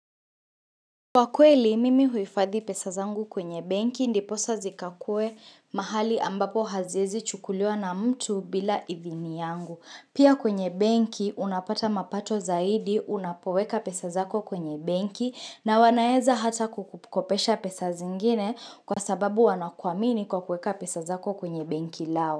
Kwa kweli mimi huifadhi pesa zangu kwenye benki ndiposa zikakue mahali ambapo haziezi chukuliwa na mtu bila idhini yangu. Pia kwenye benki unapata mapato zaidi unapoweka pesa zako kwenye benki na wanaeza hata kukukopesha pesa zingine kwa sababu wanakuamini kwa kuweka pesa zako kwenye benki lao.